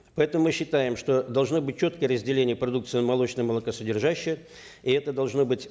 поэтому мы считаем что должны быть четкое разделение продукции молочная и молокосодержащая и это должно быть